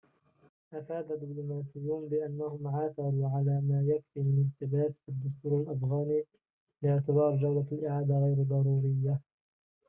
أفاد دبلوماسيون بأنهم عثروا على ما يكفي من التباس في الدستور الأفغاني لاعتبار جولة الإعادة غير ضرورية